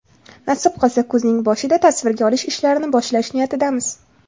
Nasib qilsa, kuzning boshida tasvirga olish ishlarini boshlash niyatidamiz.